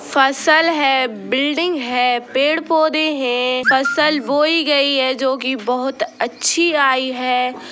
फसल हैं बिल्डिंग हैं पेड़- पौधे हैं फसल बोई गई हैं जो कि बहुत अच्छी आई हैं ।